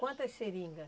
Quantas seringa?